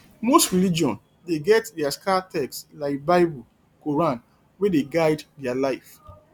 most religion dey get their sacred text like bible quoran wey dey guide their life